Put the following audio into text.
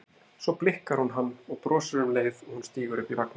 Svo blikkar hún hann og brosir um leið og hún stígur upp í vagninn.